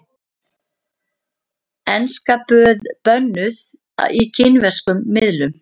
Enska bönnuð í kínverskum miðlum